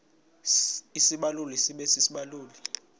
isibaluli sibe sisibaluli